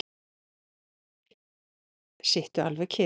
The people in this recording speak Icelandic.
Sittu alveg kyrr.